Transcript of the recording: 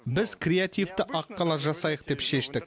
біз креативті аққала жасайық деп шештік